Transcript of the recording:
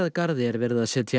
garði er verið að setja